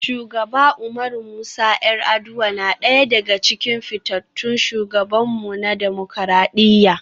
Shugaba Umaru Musa 'Yar'aduwa na daya daga cikin fitattun shugabanmu na dimokuradiyya.